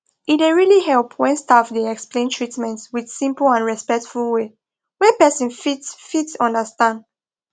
e dey really help when staff dey explain treatment with simple and respectful way wey person fit fit understand